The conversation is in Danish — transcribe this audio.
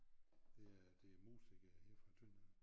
Det er det er musikere her fra Tønder